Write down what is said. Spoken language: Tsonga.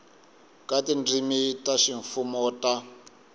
ka tindzimi ta ximfumo ta